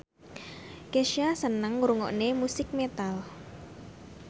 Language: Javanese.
Kesha seneng ngrungokne musik metal